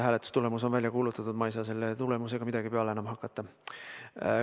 Hääletustulemus on välja kuulutatud, ma ei saa selle tulemusega midagi enam peale hakata.